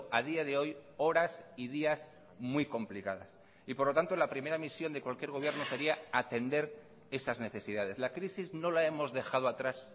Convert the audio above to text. a día de hoy horas y días muy complicadas y por lo tanto la primera misión de cualquier gobierno sería atender esas necesidades la crisis no la hemos dejado atrás